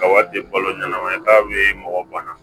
Ka wari di balo ɲɛnama ye k'a bɛ mɔgɔ bana